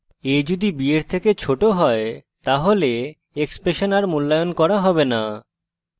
a যদি b এর থেকে ছোট হয় তাহলে expression a মূল্যায়ন করা হবে না